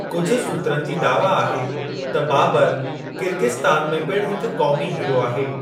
कुझु सूत्रनि जी दावा आहे त बाबर किर्गिस्तान में पिणु हिक क़ौमी हीरो आहे।